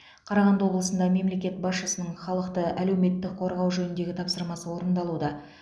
қарағанды облысында мемлекет басшысының халықты әлеуметтік қорғау жөніндегі тапсырмасы орындалуда